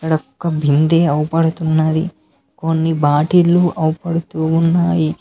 ఈడ ఒక్క బింది ఆవుపడుతున్నది కొన్ని బాటిల్ లు కనబడుతున్నాయి.